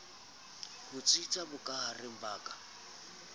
ho tsitsa bokahareng ba ka